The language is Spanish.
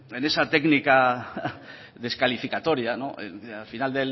en esa técnica descalificatoria al final